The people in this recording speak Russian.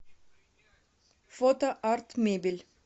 фото арт мебель